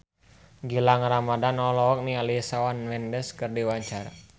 Gilang Ramadan olohok ningali Shawn Mendes keur diwawancara